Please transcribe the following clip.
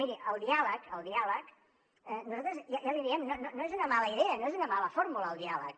miri el diàleg el diàleg nosaltres ja l’hi diem no és una mala idea no és una mala fórmula el diàleg